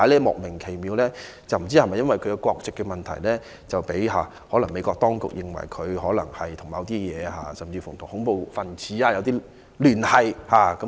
我不知道是否因為她的國籍問題，被美國當局認為她可能與恐怖分子有聯繫。